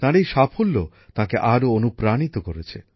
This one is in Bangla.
তাঁর এই সাফল্য তাঁকে আরও অনুপ্রাণিত করেছে